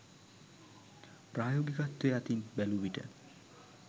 ප්‍රායෝගිකත්වය අතින් බැලූවිට